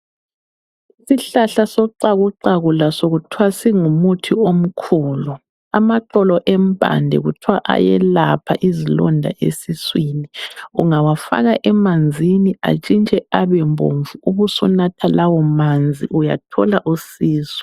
Isihlahla soxakuxaku laso kuthwa singumuthi omkhulu. Amaxolo empande kuthwa ayelapha izilonda esiswini. Ungawafaka emanzini atshintshe abe bomvu ubusunatha lawo manzi uyathola usizo.